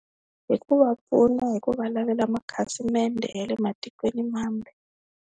Hi ku va pfuna hi ku va lavela makhasimende ya le matikweni mambe.